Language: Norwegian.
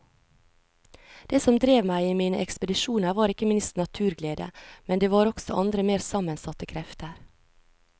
Det som drev meg i mine ekspedisjoner var ikke minst naturglede, men det var også andre mer sammensatte krefter.